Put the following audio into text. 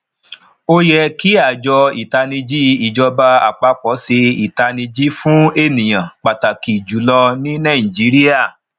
o yẹ kí àjọ ataniji ìjọba àpapọ ṣe itaniji fún ènìyàn pàtàkì jùlọ ní nàìjíríà